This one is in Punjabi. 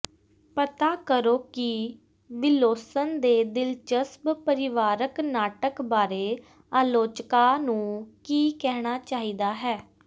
ਪਤਾ ਕਰੋ ਕਿ ਵਿਲੋਸਨ ਦੇ ਦਿਲਚਸਪ ਪਰਿਵਾਰਕ ਨਾਟਕ ਬਾਰੇ ਆਲੋਚਕਾਂ ਨੂੰ ਕੀ ਕਹਿਣਾ ਚਾਹੀਦਾ ਹੈ